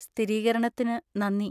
സ്ഥിരീകരണത്തിന് നന്ദി.